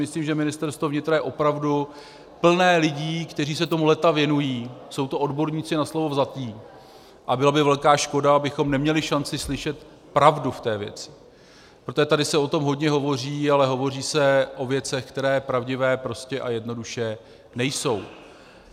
Myslím, že Ministerstvo vnitra je opravdu plné lidí, kteří se tomu léta věnují, jsou to odborníci na slovo vzatí a byla by velká škoda, abychom neměli šanci slyšet pravdu v té věci, protože tady se o tom hodně hovoří, ale hovoří se o věcech, které pravdivé prostě a jednoduše nejsou.